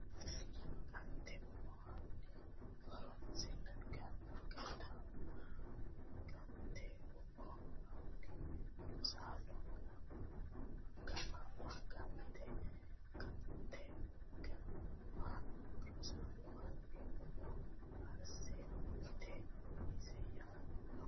Gante umo hanni Rosaano gataamma Gante umo hanni Rosaano gataamma Gante Gante gataamma Rosaano hanni umo asse mitte eessi yaanno !